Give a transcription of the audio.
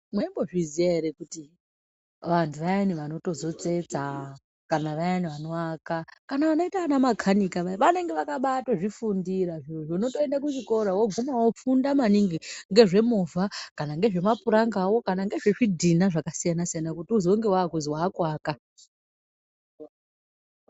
Mwaimbozviziya ere kuti antu ayani anotsetsa kana vayani vanoaka kana vakaita ana makanika vaya vanenge vakaba tozvifundira votoende kuchikora voguma vofunda maningi ngezvemovha kana ngezve mapuramgawo kana nezve zvidhina zvakasiyana siyana kuti uzenge wakuti wakuaka.